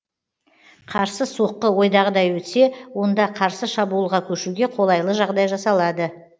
қарсы соққы ойдағыдай өтсе онда қарсы шабуылға көшуге қолайлы жағдай жасалады